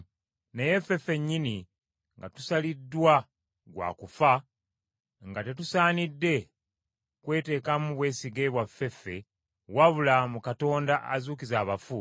Naye ffe ffennyini nga tusaliddwa gwa kufa, nga tetusaanidde kwetekamu bwesige bwaffe ffe, wabula mu Katonda azuukiza abafu,